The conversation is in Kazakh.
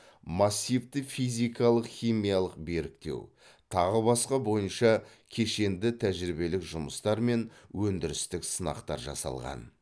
массивті физикалық химиялық беріктеу тағы басқа бойынша кешенді тәжірибелік жұмыстар мен өндірістік сынақтар жасалған